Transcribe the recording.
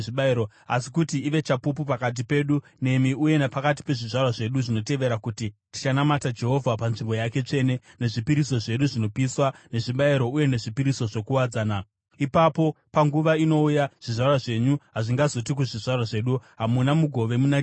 Asi kuti ive chapupu pakati pedu nemi uye napakati pezvizvarwa zvedu zvinotevera, kuti tichanamata Jehovha panzvimbo yake tsvene, nezvipiriso zvedu zvinopiswa, nezvibayiro uye nezvipiriso zvokuwadzana. Ipapo panguva inouya zvizvarwa zvenyu hazvingazoti kuzvizvarwa zvedu, ‘Hamuna mugove muna Jehovha.’